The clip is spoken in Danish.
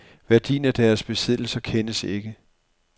Værdien af deres besiddelser kendes ikke.